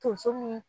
Tonso ni